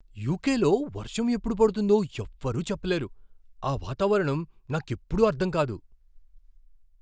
యుకేలో వర్షం ఎప్పుడు పడుతుందో ఎవ్వరూ చెప్పలేరు, ఆ వాతావరణం నాకెప్పుడూ అర్ధం కాదు.